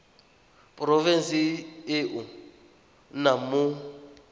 porofenseng e o nnang mo